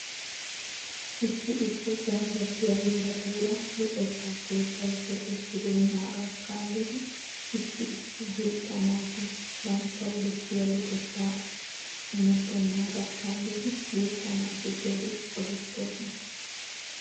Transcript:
Issi issi ganddattiyaa heeratuura luxetta keettay keexettibeenaagaa kaalid issi issi guutta naati banttawu bessiyaa luxetta lmmetenaags kaallidi guuta naati keehi qohetoosona.